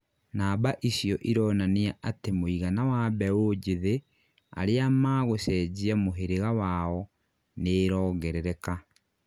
Namba icio ironania atĩ mũigana wa mbeũ njithĩ aria magũcenjia muhirĩga wao nĩirongerereka